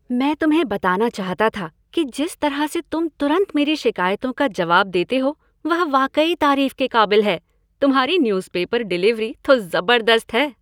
मैं तुम्हें बताना चाहता था कि जिस तरह से तुम तुरंत मेरी शिकायतों का जवाब देते हो वह वाकई तारीफ के काबिल है। तुम्हारी न्यूज़पेपर डिलीवरी तो ज़बरदस्त है।